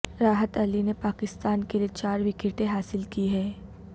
راحت علی نے پاکستان کے لیے چار وکٹیں حاصل کی ہیں